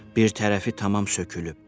Bir tərəfi tamam sökülüb.